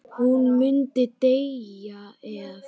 Hún myndi deyja ef.?